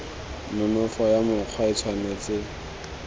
nonofo ya mokgwa e tshwanetse